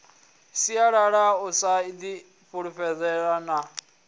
sialala u sa ifulufhela na